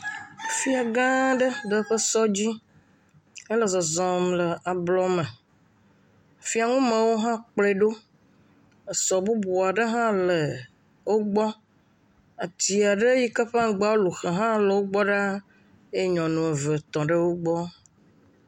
Fia gã aɖe le eƒe sɔ dzi hele zɔzɔm le ablɔ me, fiaŋumewo hã kplɔe ɖo, esɔ bubu aɖe hã le wogbɔ, ati aɖe si hã lu se la le wo gbɔ ɖaa eye nyɔnu eve tɔ ɖe wo gbɔ.